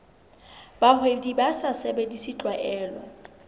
bahwebi ba sa sebedise tlwaelo